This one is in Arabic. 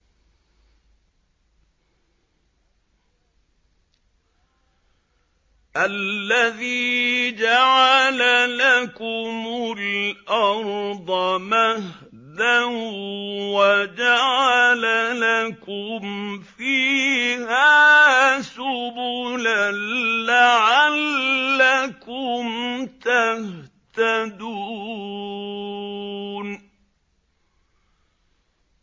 الَّذِي جَعَلَ لَكُمُ الْأَرْضَ مَهْدًا وَجَعَلَ لَكُمْ فِيهَا سُبُلًا لَّعَلَّكُمْ تَهْتَدُونَ